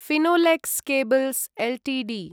Finolex cables Ltd